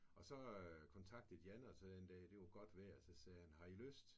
Og så kontaktede Jan os her en dag det var godt vejr den dag så sagde han har I lyst?